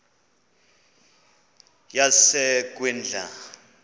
yasekwindla